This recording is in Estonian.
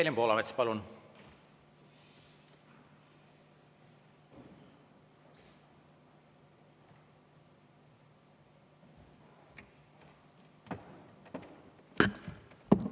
Evelin Poolamets, palun!